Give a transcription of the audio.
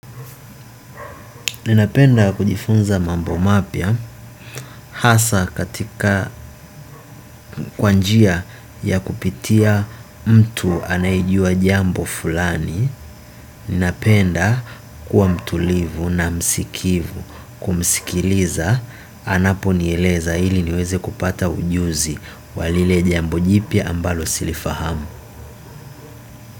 Ninapenda kujifunza mambo mapya hasa katika kwanjia ya kupitia mtu anayejua jambo fulani. Ninapenda kuwa mtulivu na msikivu kumsikiliza anapo nieleza hili niweze kupata ujuzi walile jambo jipya ambalo silifahamu.